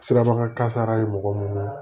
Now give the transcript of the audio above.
Sirabakan kasara ye mɔgɔ mun ye